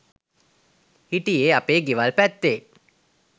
හිටියේ අපේ ගෙවල් පැත්තේ